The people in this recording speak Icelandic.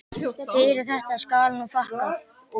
Fyrir þetta skal nú þakkað.